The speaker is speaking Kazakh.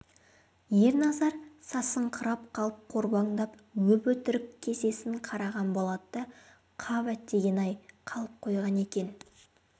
ерназар сасыңқырап қалып қорбаңдап өп-өтірік кісесін қараған болады да қап әттеген-ай қалып қойған екен